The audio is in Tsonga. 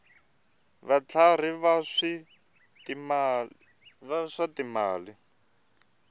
ya vutlhari ya swa timali